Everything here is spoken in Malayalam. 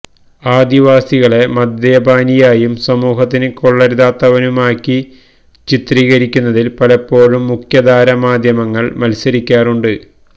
ആദിവാസികളെ മദ്യപാനിയായും സമൂഹത്തിന് കൊള്ളരുതാത്തവനുമാക്കി ചിത്രീകരിക്കുന്നതിൽ പലപ്പോഴും മുഖ്യധാര മാധ്യമങ്ങൾ മത്സരിക്കാറുണ്ട്